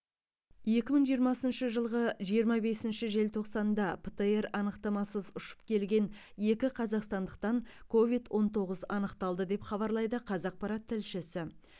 екі мың жиырмасыншы жылғы жиырма бесінші желтоқсанда птр анықтамасыз ұшып келген екі қазақстандықтан ковид он тоғыз анықталды деп хабарлайды қазақпарат тілшісі